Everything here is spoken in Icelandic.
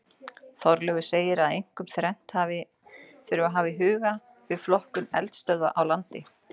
Þorleifur segir það einkum þrennt sem hafa þarf í huga við flokkun eldstöðva á landi.